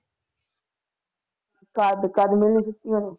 ਕਦ ਕਦ ਮਿਲਣੀ ਛੁੱਟੀ ਉਹਨੂੰ?